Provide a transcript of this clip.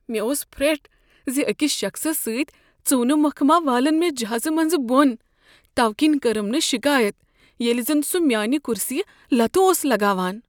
مےٚ اوس پھرٹھ زِ اکس شخصس سۭتۍ ژُونہ مۄکھ ما والن مےٚ جہازٕ منزٕ بۄن توٕ کِنی کٔرٕم نہ شکایت ییٚلہ زن سُہ میانہ کُرسیہ لتہٕ اوس لگاوان۔